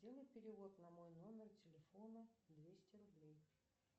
сделай перевод на мой номер телефона двести рублей